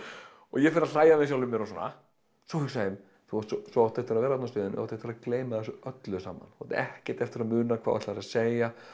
og ég fer að hlæja yfir sjálfum mér og svona svo hugsa ég þú átt eftir að vera þú átt eftir að gleyma þessu öllu saman átt ekkert eftir að muna hvað þú ætlaðir að segja